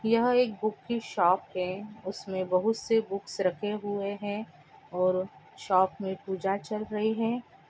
यह एक बुक की शॉप हैं उसमे बहुत से बुक्स रखें हुए हैं और शॉप में पूजा चल रहीं हैं।